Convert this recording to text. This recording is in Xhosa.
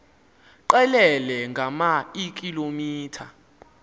qelele ngama eekilometha